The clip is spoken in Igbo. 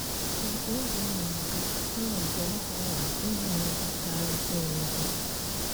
Ka oge na - aga, ha abụọ aghọrọ ndị nabatara onwe ha.